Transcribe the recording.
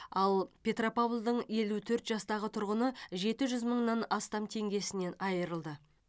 ал петропавлдың елу төрт жастағы тұрғыны жеті жүз мыңнан астам теңгесінен айырылды